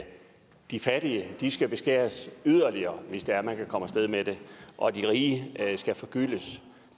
de fattige skal beskæres yderligere hvis det er man kan komme af sted med det og at de rige skal forgyldes